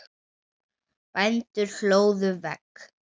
Bændur hlóðu vegg.